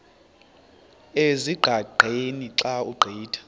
ezingqaqeni xa ugqitha